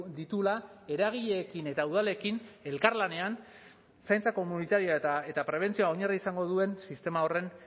dituela eragileekin eta udalekin elkarlanean zaintza komunitarioa eta prebentzioa oinarri izango duen sistema horren